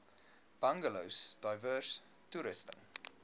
bungalows diverse toerusting